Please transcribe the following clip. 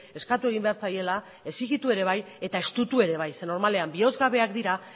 eskatu egin behar zaiela exigitu ere bai eta estutu ere bai zeren normalean bihozgabeak dira